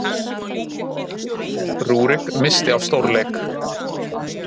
Rúrik missti af stórleik